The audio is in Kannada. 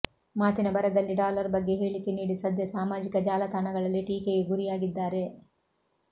ಮಾತಿನ ಭರದಲ್ಲಿ ಡಾಲರ್ ಬಗ್ಗೆ ಹೇಳಿಕೆ ನೀಡಿ ಸದ್ಯ ಸಾಮಾಜಿಕ ಜಾಲತಾಣಗಳಲ್ಲಿ ಟೀಕೆಗೆ ಗುರಿಯಾಗಿದ್ದಾರೆ